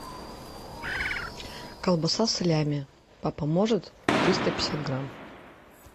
колбаса салями папа может триста пятьдесят грамм